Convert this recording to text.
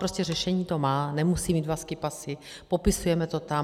Prostě řešení to má, nemusí mít dva skipasy, popisujeme to tam.